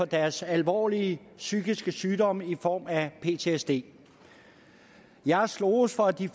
deres alvorlige psykiske sygdom i form af ptsd jeg har sloges for at de